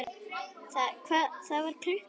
Það var klukka.